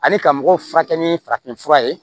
Ani ka mɔgɔw furakɛ ni farafinfura ye